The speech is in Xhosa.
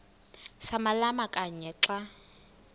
samalama kanye xa